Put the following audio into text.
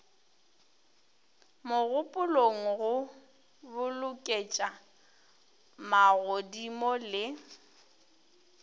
mogopolong go boloketša magodimo le